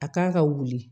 A kan ka wuli